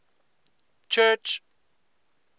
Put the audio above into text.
church